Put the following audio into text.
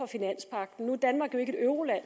finanspagten nu er danmark jo ikke et euroland